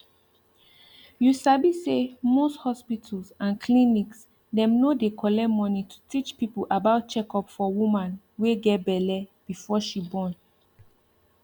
you sabi sey most hospitals and clinics dem no dey collect money to teach people about checkup for woman wey get belle before she born